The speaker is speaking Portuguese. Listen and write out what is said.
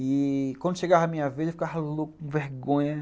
E quando chegava a minha vez, eu ficava louco, com vergonha.